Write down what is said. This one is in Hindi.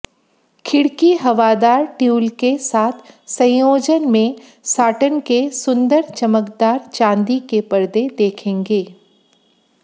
खिड़की हवादार ट्यूल के साथ संयोजन में साटन के सुंदर चमकदार चांदी के पर्दे देखेंगे